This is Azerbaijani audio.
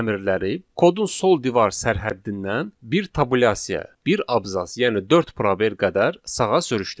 əmrləri kodun sol divar sərhəddindən bir tabulyasiya, bir abzas, yəni dörd probel qədər sağa sürüşdürdü.